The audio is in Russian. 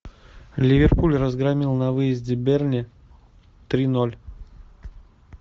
ливерпуль разгромил на выезде бернли три ноль